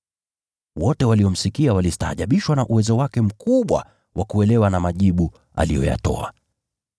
Wote waliomsikia walistaajabishwa na uwezo wake mkubwa wa kuelewa, na majibu aliyoyatoa.